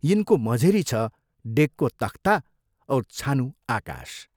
यिनको मझेरी छ डेकको तख्ता औ छानु आकाश।